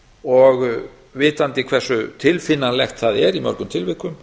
og vitandi hversu tilfinnanlegt það er í mörgum tilvikum